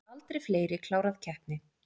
Aldrei fleiri klárað keppni